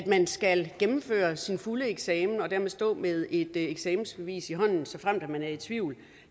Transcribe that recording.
man skal gennemføre sin fulde eksamen og dermed stå med et eksamensbevis i hånden såfremt man er i tvivl